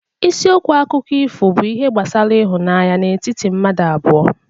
Isiokwu akụkọ ifo bụ ihe gbasara ịhụnanya n'etiti mmadụ abụọ